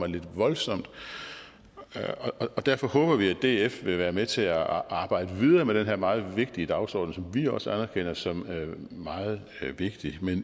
lidt voldsomt og derfor håber vi at df vil være med til at arbejde videre med den her meget vigtige dagsorden som vi også anerkender som meget vigtig